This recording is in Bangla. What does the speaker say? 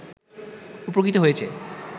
উপকৃত হয়েছে